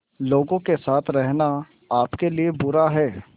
लोगों के साथ रहना आपके लिए बुरा है